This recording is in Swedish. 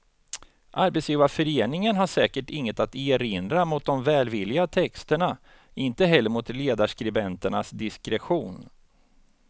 Arbetsgivarföreningen har säkert inget att erinra mot de välvilliga texterna, inte heller mot ledarskribenternas diskretion.